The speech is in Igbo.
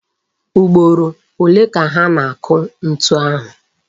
Ugboro ole ka ha na-akụ ntu ahụ?